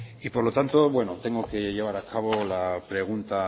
y por lo tanto tengo que llevar a cabo la pregunta